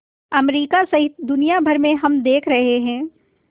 America सहित दुनिया भर में हम देख रहे हैं